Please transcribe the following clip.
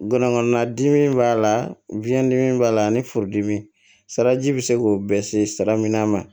Ngɔnɔnkɔnɔbana dimi b'a la biyɛn dimi b'a la ani furudimi salaji bɛ se k'o bɛɛ ser'i la